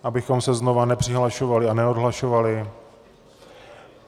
Abychom se znovu nepřihlašovali a neodhlašovali.